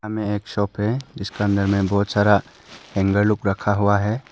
में एक शॉप है इसके अंदर में बहुत सारा हेंगर लुक रखा हुआ है।